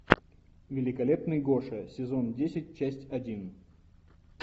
великолепный гоша сезон десять часть один